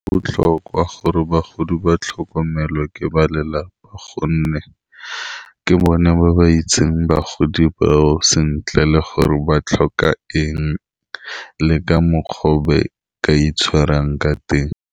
Botlhokwa gore bagodi ba tlhokomelo ke ba lelapa gonne ke bone ba ba itseng bagodi bao sentle le gore ba tlhoka eng, le ka mokgwa o ba ka itshwarang ka teng.